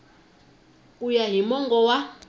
ku ya hi mongo wa